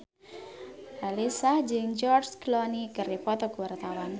Raline Shah jeung George Clooney keur dipoto ku wartawan